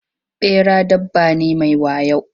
Ɓera dabba ne mai wayo.